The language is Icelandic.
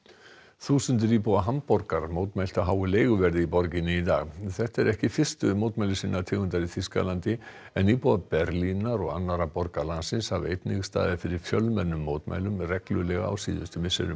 þúsundir íbúa Hamborgar mótmæltu háu leiguverði í borginni í dag þetta eru ekki fyrstu mótmæli sinnar tegundar í Þýskalandi en íbúar Berlínar og annarra borga landsins hafa einnig staðið fyrir fjölmennum mótmælum reglulega á síðustu misserum